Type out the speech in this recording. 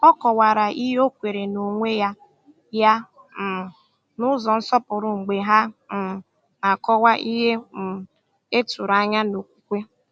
Ọ kọ̀wara ihe ọ kweere n’onwe ya ya um n’ụzọ nsọpụrụ mgbe ha um na-akọwa ihe um e tụrụ anya n’okwukwe.